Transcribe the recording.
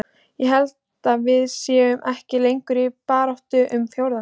Ég held að við séum ekki lengur í baráttunni um fjórða sætið.